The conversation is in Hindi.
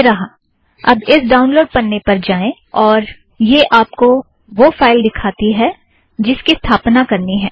यह रहा अब इस ड़ाउनलोड़ पन्ने पर जाएं और यह आप को वह फ़ाइल दिखाती है जिसकी स्थापना करनी है